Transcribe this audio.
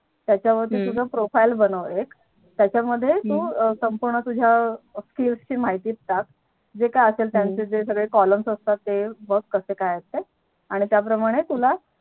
त्याच्या वरती तुझं Profile बनव एक त्याच्या मध्ये तू संपूर्ण तुझ्या Skill ची माहिती ताक जे काय असता त्याचे Column असतात ते बघ कसे काय असतात आणि त्या प्रमाणे तुला